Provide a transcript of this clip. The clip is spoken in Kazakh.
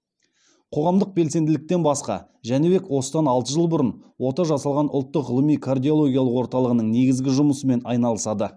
қоғамдық белсенділіктен басқа жәнібек осыдан алты жыл бұрын ота жасалған ұлттық ғылыми кардиологиялық орталығының негізгі жұмысымен айналысады